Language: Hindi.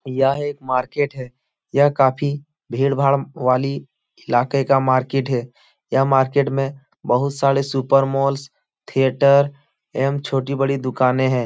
यह एक मार्किट है। यह काफ़ी भीड़ भाड़ वाली इलाके का मार्किट हैं। यह मार्किट में बोहोत सारे सुपर मॉल थीएटर एवम छोटी बड़ी दुकाने हैं।